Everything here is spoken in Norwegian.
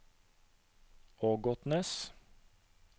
Ågotnes